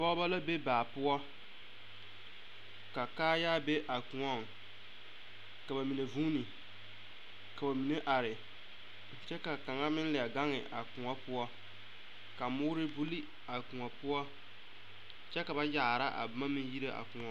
Pɔgeba la be baa poɔ ka kaayaa be a koɔŋ ka ba mine vuune ka ba mine are kyɛ ka a kaŋa meŋ leɛ gaŋe a koɔ poɔ ka moore buli a koɔ poɔ kyɛ ka ba yaara a boma yire a koɔ.